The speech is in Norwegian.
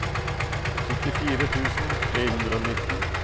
syttifire tusen tre hundre og nitten